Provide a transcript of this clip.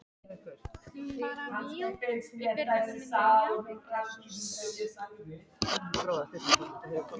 Ég sendi út boðskort með einni skáldlegri línu.